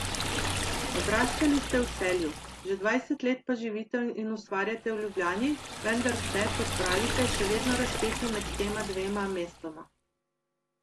Odraščali ste v Celju, že dvajset let pa živite in ustvarjate v Ljubljani, vendar ste, kot pravite, še vedno razpeti med tema dvema mestoma.